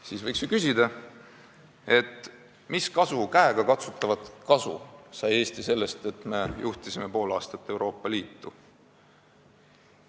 Siis võiks ju ka küsida, mis käegakatsutavat kasu sai Eesti sellest, kui me juhtisime pool aastat Euroopa Liitu.